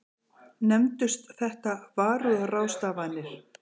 Nefndust þetta varúðarráðstafanir.